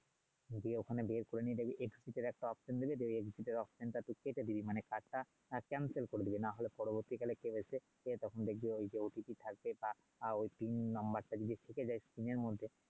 দিয়ে ওখানে বের করে নিবি গিয়ে একটা দিবে টা তুই কেটে দিবি মানে কার্ডটা তুই করে দিবি নাহলে পরবর্তীকালে কি হয়েছে সে তখন দেখবে ওই যে অতিতে থাকবে যা বা ওই নাম্বারটা দিয়ে ঢুকে এর মধ্যে